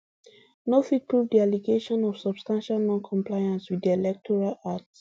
no fit prove di allegation of substantial noncompliance wit di electoral act